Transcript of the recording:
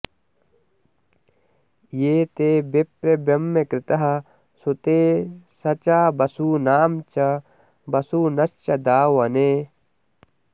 ये ते विप्र ब्रह्मकृतः सुते सचा वसूनां च वसुनश्च दावने